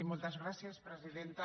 moltes gràcies presidenta